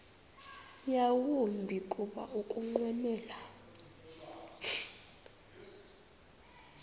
yawumbi kuba ukunqwenela